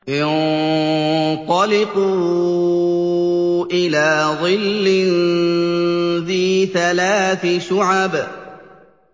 انطَلِقُوا إِلَىٰ ظِلٍّ ذِي ثَلَاثِ شُعَبٍ